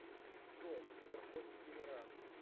джой сберкот дегенерат